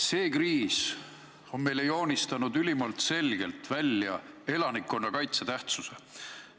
See kriis on meile joonistanud ülimalt selgelt välja elanikkonnakaitse tähtsuse.